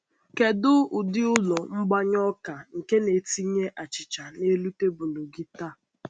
Kedu ụdị Kedu ụdị ụlọ mgbanye ọka nke na-etinye achịcha n’elu tebụl gị taa?